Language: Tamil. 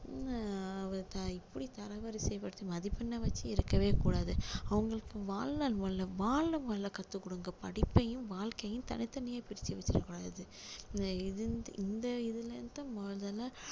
அஹ் எப்படி தர வரிசை படுத்தி மதிப்பெண்ணை வச்சி இருக்கவே கூடாது அவங்களுக்கு வாழ முல்ல~ வாழ முதல்ல கத்துக்கொடுங்க படிப்பையும் வாழ்க்கையும் தனி தனியா பிரிச்சி வச்சிட கூடாது இது~ இந்த இதுல இருந்து தான் முதல்ல